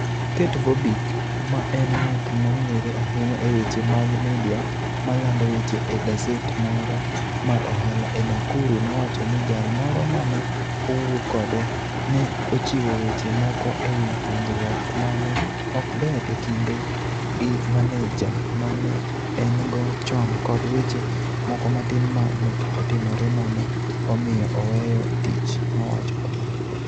Kate Vobic, ma en ng'at mong'ere ahinya e weche mag media ma lando weche e gaset moro mar ohala e Nakuru, nowacho ni jal moro ma ne owuo kode "ne ochiwo weche moko e wi winjruok ma ne ok ber e kinde gi maneja ma ne en go chon kod weche moko matin ma ne otimore ma ne omiyo oweyo tich, " nowacho kamano.